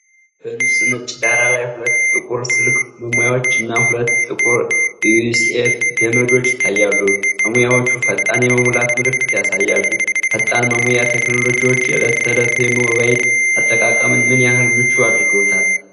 በንፁህ ነጭ ዳራ ላይ ሁለት ጥቁር ስልክ መሙያዎችና ሁለት ጥቁር የዩኤስቢ ገመዶች ይታያሉ። መሙያዎቹ “ፈጣን የመሙላት” ምልክት ያሳያሉ። ፈጣን መሙያ ቴክኖሎጂዎች የዕለት ተዕለት የሞባይል አጠቃቀምን ምን ያህል ምቹ አድርገውታል?